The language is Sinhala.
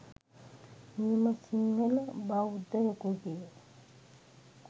නියම සින්හල බෞද්දයකුගේ